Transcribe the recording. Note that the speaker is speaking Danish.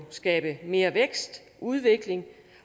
skabe mere vækst og udvikling